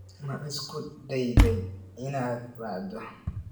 Ma isku dayday inaad wacdo?